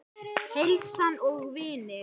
Heilsan og vinir.